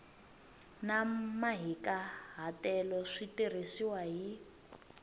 na mahikahatelo swi tirhisiwile hi